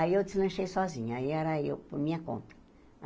Aí eu deslanchei sozinha, aí era eu por minha conta.